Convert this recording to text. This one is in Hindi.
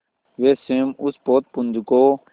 वे स्वयं उस पोतपुंज को